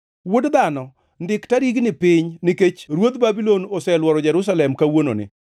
Wuod dhano, ndik tarigni piny, nikech ruodh Babulon oseluoro Jerusalem kawuononi.